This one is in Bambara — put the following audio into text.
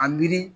A miiri